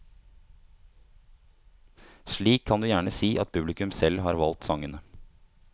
Slik kan du gjerne si at publikum selv har valgt sangene.